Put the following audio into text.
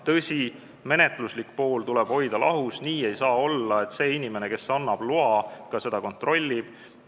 Tõsi, menetluslik pool tuleb hoida lahus, nii ei saa olla, et see inimene, kes annab loa, ka seda kontrollib.